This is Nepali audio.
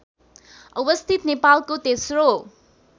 अवस्थित नेपालको तेस्रो